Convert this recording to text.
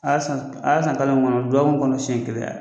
A y'a san k a y'a san kalo min kɔnɔ dɔɔkun kɔnɔ siɲɛ kelen a y